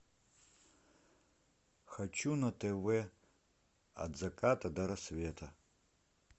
хочу на тв от заката до рассвета